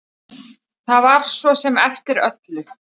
Það var svo sem eftir öllu.